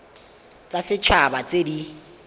tsa set haba tse di